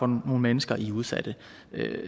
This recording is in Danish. nogle mennesker i udsatte